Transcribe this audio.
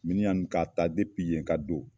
Miniyan nin ka ta yen ka don